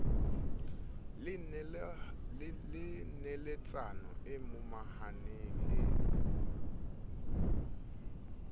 le neletsano e momahaneng e